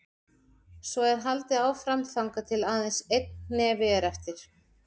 Svo er haldið áfram þangað til aðeins einn hnefi er eftir.